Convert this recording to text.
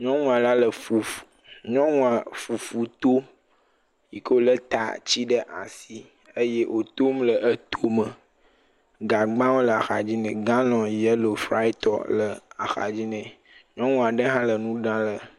Nyɔnu ale le fuf. Nyɔnua fufu to. Yi ke wòlé taatsi ɖe asi. Eye wòtom le etome. Gagbawo le axadzi nɛ. Galɔ̃ŋ yɛlo, fraɛtɔ le axadzi nɛ. Nyɔnu aɖe hã le nu ɖa le.